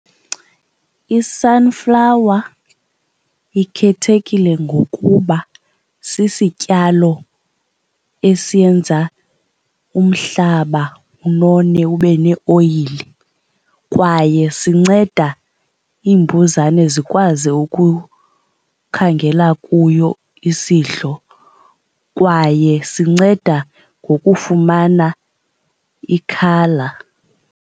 I-sunflower ikhethekile ngokuba sisityalo esiyenza umhlaba unone ube neoyile kwaye sinceda iimbuzane zikwazi ukukhangela kuyo isidlo kwaye sinceda ngokufumana i-colour.